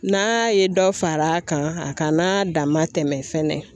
N'a ye dɔ fara a kan a kana dama tɛmɛ fɛnɛ.